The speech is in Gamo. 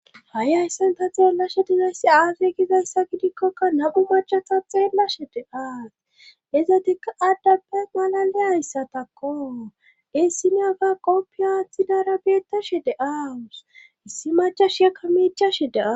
ha7i hayssan ta xeellashe dizayssi aasey gizayssa gidikkokka na7u machata xeellashe de aas izatikka addappe malale ayssatakko issine aga qoppi aaththi dara beettashe de aawus issi macha shiekka miichashe de7aa